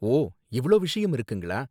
ஓ, இவ்ளோ விஷயம் இருக்குங்களா!